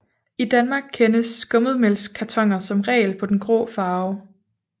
I Danmark kendes skummetmælkskartoner som regel på den grå farve